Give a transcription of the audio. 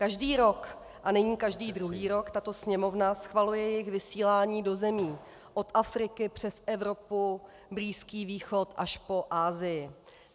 Každý rok a nyní každý druhý rok tato Sněmovna schvaluje jejich vysílání do zemí od Afriky přes Evropu, Blízký východ až po Asii.